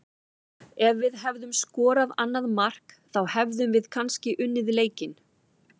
Ef við hefðum skorað annað mark þá hefðum við kannski unnið leikinn.